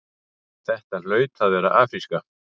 Þetta hlaut að vera afríska.